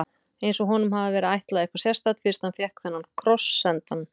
Eins og honum hafi verið ætlað eitthvað sérstakt, fyrst hann fékk þennan kross sendan.